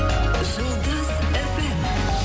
жұлдыз фм